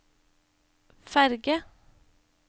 ferge